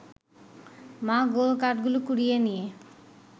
মা গোল কাঠগুলো কুড়িয়ে নিয়ে